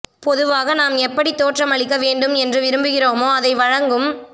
பொதுவாக நாம் எப்படித் தோற்றமளிக்க வேண்டும் என்று விரும்புகிறோமோ அதை வழங்கும்